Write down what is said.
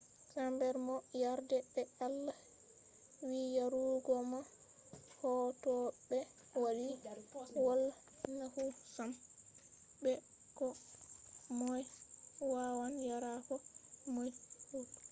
chambers mo yardai be allah wi yarugo mo ko to ɓe waɗi wala nafu sam” be ko moy wawan yara ko moy kotu.